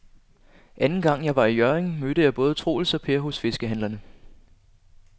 Anden gang jeg var i Hjørring, mødte jeg både Troels og Per hos fiskehandlerne.